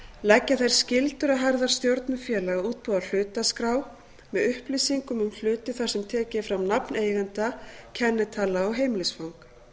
leggja þær skyldur á herðar stjórnum félaga að útbúa hlutaskrá með upplýsingum um hluti þar sem tekið er fram nafn eigenda kennitala og heimilisfang